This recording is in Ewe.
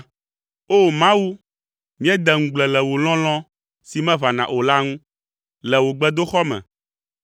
O! Mawu, míedea ŋugble le wò lɔlɔ̃ si meʋãna o la ŋu le wò gbedoxɔ me.